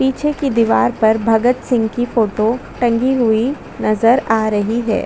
पीछे की दिवार पर भगत सिंह की फोटो टंगी हुई नज़र आ रही है।